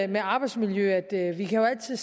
med arbejdsmiljø at vi jo altid